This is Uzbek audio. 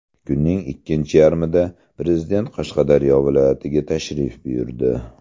Kunning ikkinchi yarmida Prezident Qashqadaryo viloyatiga tashrif buyurdi.